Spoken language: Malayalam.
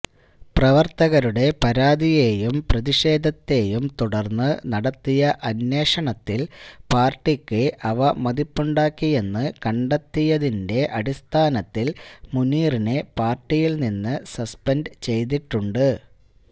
പ്രവര്ത്തകരുടെ പരാതിയെയും പ്രതിഷേധത്തെയും തുടര്ന്ന് നടത്തിയ അന്വേഷണത്തില് പാര്ട്ടിക്ക് അവമതിപ്പുണ്ടാക്കിയെന്ന് കണ്ടെത്തിയതിന്റെ അടിസ്ഥാനത്തില് മുനീറിനെ പാര്ട്ടിയില്നിന്ന് സസ്പെന്ഡ് ചെയ്തിട്ടുണ്ട്